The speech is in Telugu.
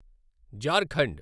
జార్ఖండ్